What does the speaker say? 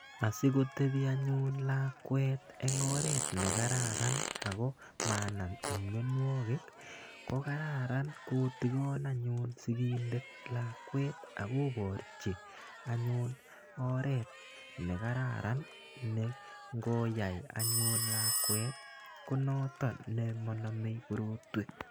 Asikotepi anyun lakwet eng' oret ne kararan ako manam mianwagik ko kararan kotikan anyun sikindet lakwet ak koparchi anyun oret ne kararan ne ngoyai anyun lakwet ko noton ne ma namei korotwek.